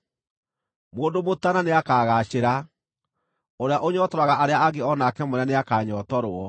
Mũndũ mũtaana nĩakagaacĩra; ũrĩa ũnyootoraga arĩa angĩ o nake mwene nĩakanyootorwo.